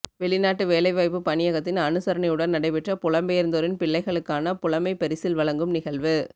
வெளிநாட்டு வேலைவாய்ப்பு பணியகத்தின் அனுசரனையுடன் நடைபெற்ற புலம்பெயர்ந்தோரின் பிள்ளைகளுக்கான புலமைப்பரிசில் வழங்கும் நிகழ்வு